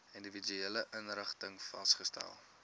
individuele inrigtings vasgestel